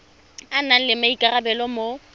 a nang le maikarabelo mo